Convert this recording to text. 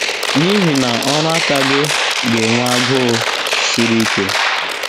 N’ihi na ọrụ aka gị ga - enwe agụụ sri ike. ”